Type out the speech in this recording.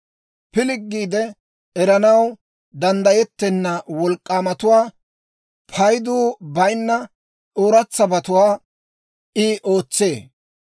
Pilggiide eranaw danddayettenna wolk'k'aamatuwaa, paydu bayinna ooratsabatuwaa I ootsee.